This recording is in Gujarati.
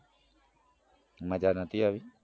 મજા નતી આવી